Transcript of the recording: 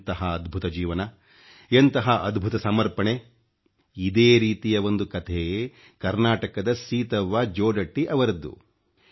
ಎಂತಹ ಅದ್ಭುತ ಜೀವನ ಎಂತಹ ಅದ್ಭುತ ಸಮರ್ಪಣೆ ಇದೇ ರೀತಿಯ ಒಂದು ಕಥೆ ಕರ್ನಾಟಕದ ಸೀತವ್ವ ಜೋಡಟ್ಟಿಯವರದು